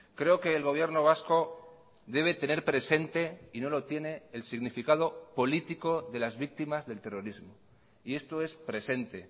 creo que el gobierno vasco debe tener presente y no lo tiene el significado político de las víctimas del terrorismo y esto es presente